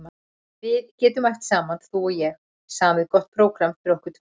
Við getum æft saman þú og ég, samið gott prógramm fyrir okkur tvær.